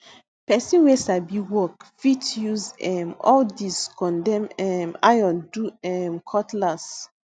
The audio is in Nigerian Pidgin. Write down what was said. pesin wey sabi work fit use um all dis condemn um iron do um cutlass